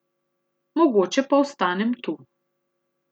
Mogoče pa ostanem tu.